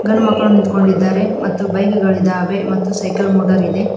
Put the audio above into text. ಗಂಡು ಮಕ್ಕಳು ನಿಂತ್ಕೊಂಡಿದ್ದಾರೆ ಮತ್ತು ಬೈಕ್ ಗಳು ಇದಾವೆ ಮತ್ತು ಸೈಕಲ್ ಮೋಟರ್ ಇದೆ.